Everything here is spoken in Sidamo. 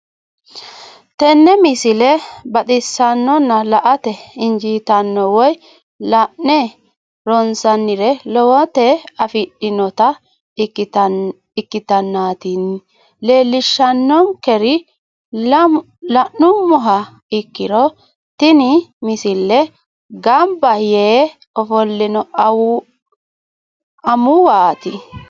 tenne misile baxisannonna la"ate injiitanno woy la'ne ronsannire lowote afidhinota ikkitanna tini leellishshannonkeri la'nummoha ikkiro tini misile gamba yee ofollino amuwaati.